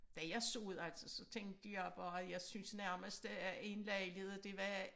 Da jeg så det altså så tænkte jeg bare jeg synes nærmest øh at en lejlighed det var